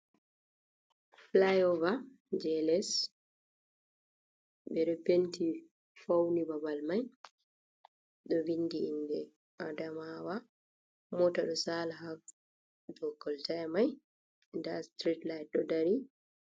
Fulaiover je les, ɓe ɗo penti fauni babal mai, ɗo vindi inde adamawa, mota ɗo sala ha dow kolta mai, nda sitirit lait ɗo dari.